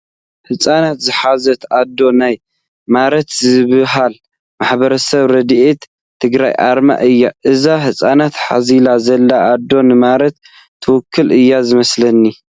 ህፃናት ዝሓዘት ኣዶ ናይ ማረት ዝበሃል ማሕበር ረድኤት ትግራይ ኣርማ እዩ፡፡ እዛ ህፃናት ሓዚላ ዘላ ኣዶ ንማረት ትውክል እዩ ዝመስለኒ፡፡